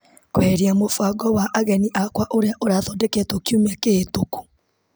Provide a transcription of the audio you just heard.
Kweheria mũbango wa ageni akwa ũrĩa ũrathodeketwo kiumia kĩhetũku .